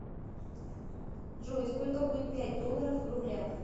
джой сколько будет пять долларов в рублях